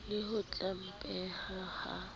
le ho se hlomphehe ha